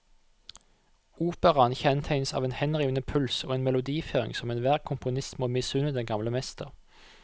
Operaen kjennetegnes av en henrivende puls og en melodiføring som enhver komponist må misunne den gamle mester.